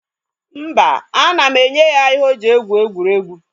Mba, ana m enye ya ihe o ji egwu egwuregwu.